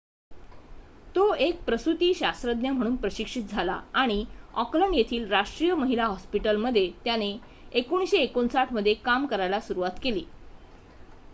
तो एक प्रसुतीशास्त्रज्ञ म्हणून प्रशिक्षित झाला आणि ऑकलंड येथील राष्ट्रीय महिला हॉस्पिटल मध्ये त्याने 1959 मध्ये काम करायला सुरुवात केली